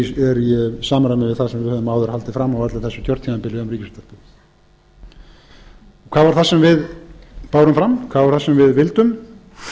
í samræmi við það sem við höfum áður haldið fram á öllu þessu kjörtímabili um ríkisútvarpið hvað var það sem við bárum fram hvað var það sem við vildum